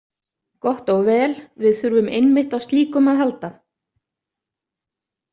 Gott og vel, við þurfum einmitt á slíkum að halda